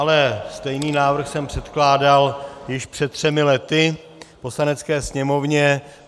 Ale stejný návrh jsem předkládal již před třemi lety Poslanecké sněmovně.